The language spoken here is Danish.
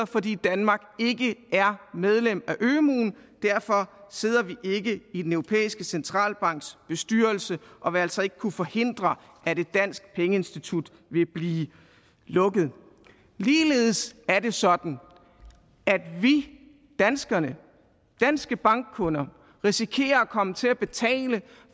fordi danmark ikke er medlem af ømuen derfor sidder vi ikke i den europæiske centralbanks bestyrelse og vil altså ikke kunne forhindre at et dansk pengeinstitut vil blive lukket ligeledes er det sådan at vi danskerne danske bankkunder risikerer at komme til at betale